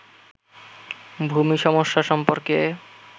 ভূমি সমস্যা সম্পর্কে